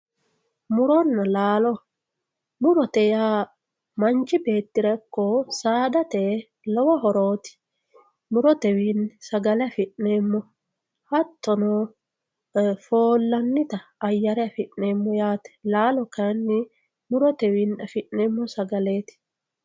Muronna laallo, murote yaa manchi beettirra iko saadate lowo hototi, murotewinni sagale afi'neemo, hatono foollanita ayyere affi'neemo yaate. Laalo kayinni murotewiinni affi'neemo sagaleti.